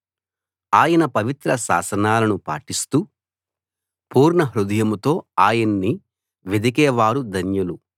ఆయన పవిత్ర శాసనాలను పాటిస్తూ పూర్ణహృదయంతో ఆయన్ని వెదికేవారు ధన్యులు